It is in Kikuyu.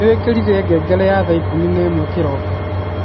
nĩ wĩkĩrire ngengere ya thaa ikumi na imwe kiroko